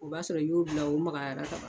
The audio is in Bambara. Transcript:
O b'a sɔrɔ i y'o bila u magayara ka ban.